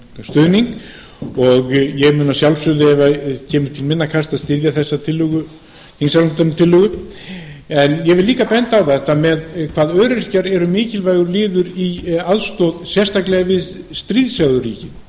stuðning hennar ég mun að sjálfsögðu ef það kemur til minna kasta styðja þessa þingsályktunartillögu ég vil líka benda á hvað öryrkjar eru mikilvægur liður í aðstoð sérstaklega við stríðhrjáðu ríkin